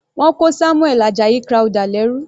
Wọ́n kó Samuel Ajayi Crowther lẹ́rú.